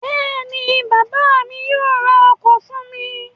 Bẹ́ẹ̀ ni, bàbá mi yóò ra ọkọ̀ fún mi.